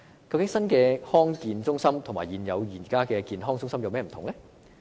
究竟新的康健中心與現有的健康中心有何不同呢？